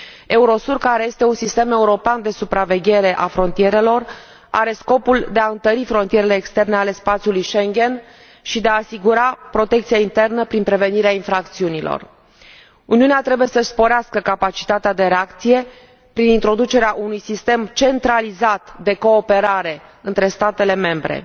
EUROSUR, care este un sistem european de supraveghere a frontierelor, are scopul de a întări frontierele externe ale spațiului Schengen și de a asigura protecția internă prin prevenirea infracțiunilor. Uniunea trebuie să și sporească capacitatea de reacție prin introducerea unui sistem centralizat de cooperare între statele membre.